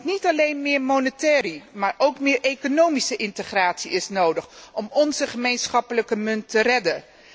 Want niet alleen meer monetaire, maar ook meer economische integratie is nodig om onze gemeenschappelijke munt te redden.